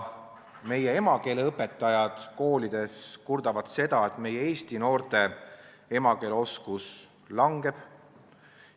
Meie emakeeleõpetajad kurdavad selle üle, et eesti noorte emakeeleoskus kahaneb.